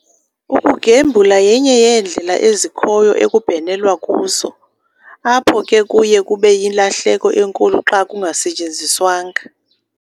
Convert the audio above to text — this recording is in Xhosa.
Ukugembula yenye yeendlela ezikhoyo ekubhenelwa kuzo, apho ke kuye kube yilahleko enkulu xa kungasetyenziswanga